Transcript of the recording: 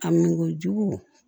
A min ko jugu